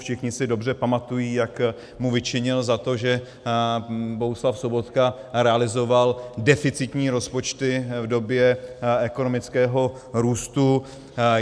Všichni si dobře pamatují, jak mu vyčinil za to, že Bohuslav Sobotka realizoval deficitní rozpočty v době ekonomického růstu.